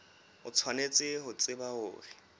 o tshwanetse ho tseba hore